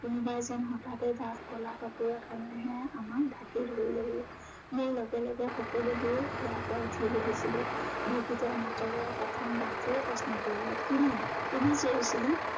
কোনোবাই যেন হঠাতে ডাঠ কলা কাপোৰ এখনেৰেহে আমাক ঢাকি ধৰিলেহি। মোৰ লগে লগে সকলোবোৰে শুৱাৰ পৰা উঠি বহিছিলে। বিকৃত মাতেৰে প্ৰথম doctor এ প্ৰশ্ন কৰিলে কোনে, কোনে চিঞৰিছিলে।